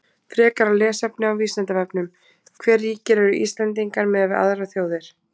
Frekara lesefni á Vísindavefnum: Hve ríkir eru Íslendingar miðað við aðrar þjóðir?